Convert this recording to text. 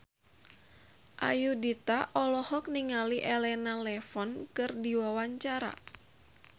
Ayudhita olohok ningali Elena Levon keur diwawancara